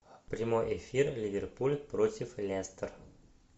прямой эфир ливерпуль против лестер